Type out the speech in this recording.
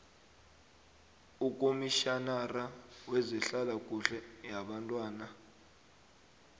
ukomitjhinara wezehlalakuhle yabantwana